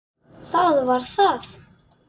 Það var það!